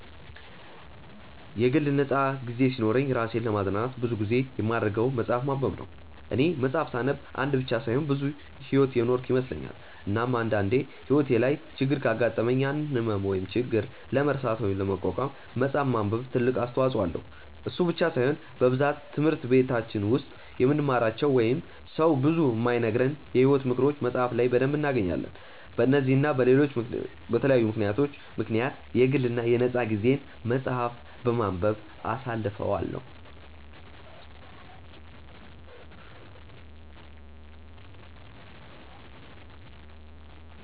የግል ነፃ ጊዜ ሲኖረኝ እራሴን ለማዝናናት ብዙ ጊዜ የማደርገው መፅሐፍ ማንበብ ነው፦ እኔ መፅሐፍ ሳነብ አንድ ብቻ ሳይሆን ብዙ ሕይወት የኖርኩ ይመስለኛል፤ እናም አንድ አንዴ ሕይወቴ ላይ ችግር ካጋጠመኝ ያንን ህመም ወይም ችግር ለመርሳት ወይም ለመቋቋም መፅሐፍ ማንበብ ትልቅ አስተዋጽኦ አለው፤ እሱ ብቻ ሳይሆን በብዛት ትምህርት በቲች ውስጥ የማንማራቸው ወይንም ሰው ብዙ የማይነግረንን የሕይወት ምክሮችን መፅሐፍ ላይ በደንብ እናገኛለን፤ በነዚህ እና በለሎች በተለያዩ ምክንያቶች ምክንያት የግል የ ነፃ ጊዜየን መፅሐፍ በማንበብ አሳልፈዋለው።